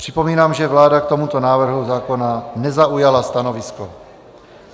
Připomínám, že vláda k tomuto návrhu zákona nezaujala stanovisko.